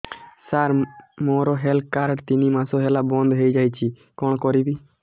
ସାର ମୋର health card ତିନି ମାସ ହେଲା ବନ୍ଦ ହେଇଯାଇଛି କଣ କରିବି